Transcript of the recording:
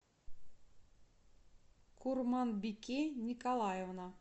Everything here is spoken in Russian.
курманбике николаевна